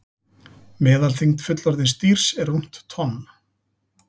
Meðalþyngd fullorðins dýrs er rúmt tonn.